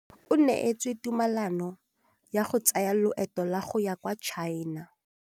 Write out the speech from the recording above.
O neetswe tumalanô ya go tsaya loetô la go ya kwa China.